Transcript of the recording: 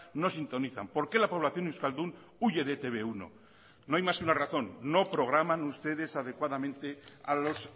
no sintonizan por qué la población euskaldun huye de e te be uno no hay más que una razón no programan ustedes adecuadamente a los